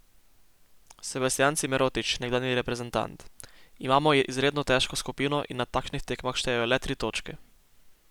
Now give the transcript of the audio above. Sebastijan Cimerotič, nekdanji reprezentant: "Imamo izredno težko skupino in na takšnih tekmah štejejo le tri točke.